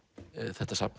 þetta safn